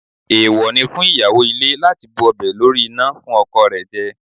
Èèwọ̀ ni fún ìyàwó ilé láti bu ọbẹ̀ lórí iná fún ọkọ rẹ̀ jẹ